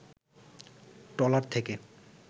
trawler থেকে